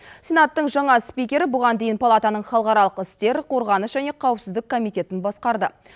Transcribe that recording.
сенаттың жаңа спикері бұған дейін палатаның халықаралық істер қорғаныс және қауіпсіздік комитетін басқарды